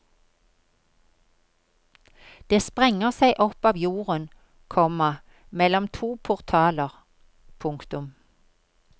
Det sprenger seg opp av jorden, komma mellom to portaler. punktum